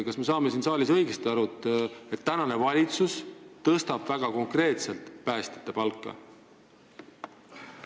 Kas me saame siin saalis õigesti aru, et tänane valitsus tõstab väga konkreetselt päästjate palka?